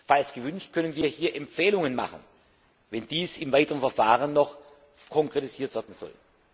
Falls gewünscht, können wir hier Empfehlungen abgeben, wenn dies im weiteren Verfahren noch konkretisiert werden soll.